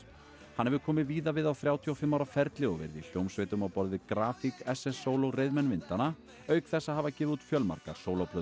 hann hefur komið víða við á þrjátíu og fimm ára ferli og verið í hljómsveitum á borð við grafík SSSól og reiðmenn vindanna auk þess að hafa gefið út fjölmargar